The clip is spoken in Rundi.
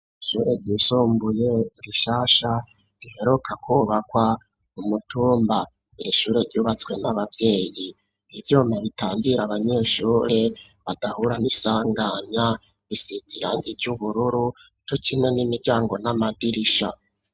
Ishure ryisumbuye rishasha riheruka kubakwa k'umutumba, irishure ryubatswe n'abavyeyi ,ivyuma bitangira abanyeshure badahura n'isanganya bisiz'irangi ry'ubururu co kimwe n'imiryango n'amadirisha.